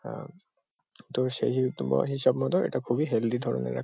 অ্যাঁ তবে সেহেতু বা হিসাব মতো এটা খুবই হেলদি ধরনের এক --